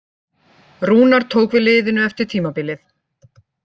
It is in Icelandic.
Rúnar tók við liðinu eftir tímabilið.